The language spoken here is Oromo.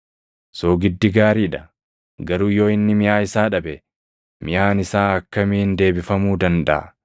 “Soogiddi gaarii dha; garuu yoo inni miʼaa isaa dhabe, miʼaan isaa akkamiin deebifamuu dandaʼa?